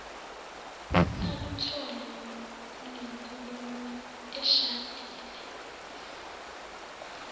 aluthole kulenkulumo eshadini